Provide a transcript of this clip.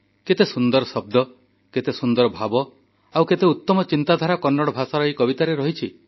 କେତେ ସୁନ୍ଦର ଶବ୍ଦ କେତେ ସୁନ୍ଦର ଭାବ ଆଉ କେତେ ଉତ୍ତମ ଚିନ୍ତାଧାରା କନ୍ନଡ଼ ଭାଷାର ଏହି କବିତାରେ ରହିଛି